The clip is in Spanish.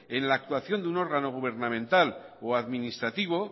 en la actuación de un órgano gubernamental o administrativo